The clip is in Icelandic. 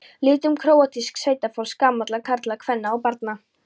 litum króatísks sveitafólks, gamalla karla, kvenna og barna.